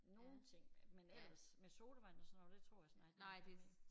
Nogle ting men ellers med sodavand og sådan noget der tror jeg snart ikke det giver mening